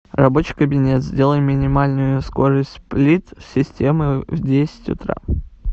рабочий кабинет сделай минимальную скорость сплит системы в десять утра